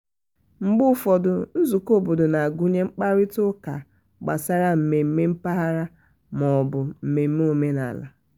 mgbe ụfọdụ nzụkọ obodo na-agụnye mkparịta ụka gbasara mmemme mpaghara ma ọ bụ mmemme omenala.